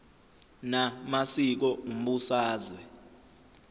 na masiko umbusazwe